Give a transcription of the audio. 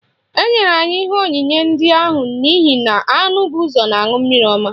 Enyere anyị ihe onyinye ndị ahụ n'ihi na anụ bụ ụzọ na-aṅụ mmiri ọma